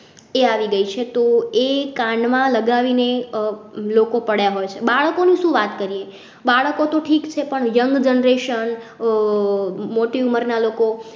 એ આવી ગઈ છે તો એ કાનમાં લગાવી ને લોકો પડ્યા હોય છે બાળકો ની સુ વાત કરીએ બાળકો તો ઠીક છે પણ young generation આહ મોટી ઉમરના લોકો